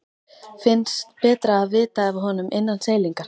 Finnst betra að vita af honum innan seilingar.